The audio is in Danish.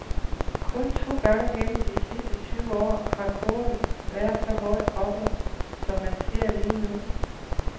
Kun to gange gennem de sidste tyve år har kurven været så højt oppe, som man ser lige nu.